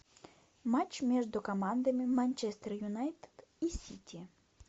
матч между командами манчестер юнайтед и сити